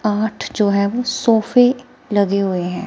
आठ जो है वो सोफे लगे हुए हैं।